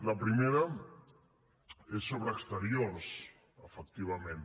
la primera és sobre exteriors efectivament